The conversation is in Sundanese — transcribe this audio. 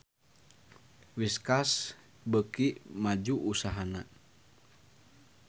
Whiskas beuki maju usahana